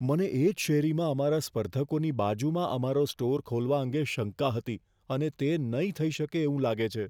મને એ જ શેરીમાં અમારા સ્પર્ધકોની બાજુમાં અમારો સ્ટોર ખોલવા અંગે શંકા હતી અને તે નહીં થઇ શકે એવું લાગે છે.